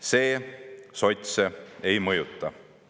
See sotse ei mõjuta.